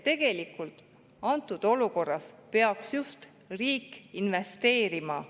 Tegelikult peaks antud olukorras riik just investeerima.